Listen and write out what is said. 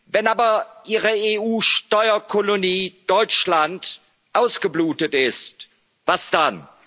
Wenn aber Ihre EU Steuerkolonie Deutschland ausgeblutet ist Was dann?